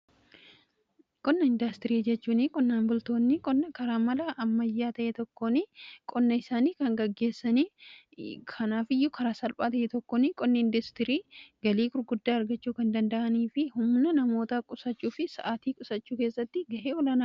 qonna indaastirii jechuun qonnaan bultoonni qonna karaa mala ammayyaa ta'ee tokkoon qonna isaanii kan gaggeessanii kanaaf iyyuu karaa salphaa ta'ee tokkoon qonna indaastirii galii gurguddaa argachuu kan danda'anii fi humna namoota qusachuu fi sa'aatii qusachuu keessatti ga'ee olaanaa.